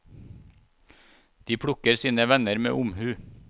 De plukker sine venner med omhu.